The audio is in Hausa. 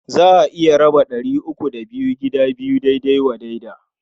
Za a iya raba ɗari uku da biyu gida biyu daidai wa daida.